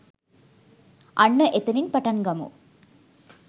අන්න එතනින් පටං ගමු